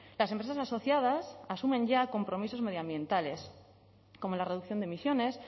las empresas asociadas asumen ya compromisos medioambientales como la reducción de emisiones